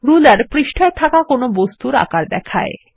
ruler পৃষ্ঠায় একটি বস্তুর আকার দেখায়